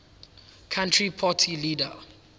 country party leader